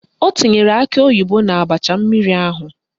O tinyere akị oyibo n'abacha mmiri ahụ?